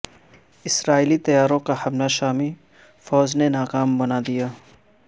اسرائیلی طیاروں کا حملہ شامی فوج نے ناکام بنا دیا